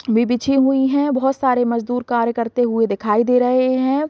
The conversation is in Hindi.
भी बिछी हुई है बहुत सारे मजदुर कार्य करते हुए दिखाई दे रहे हैं।